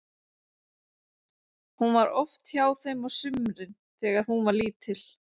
Hún var oft hjá þeim á sumrin þegar hún var lítil.